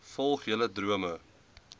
volg julle drome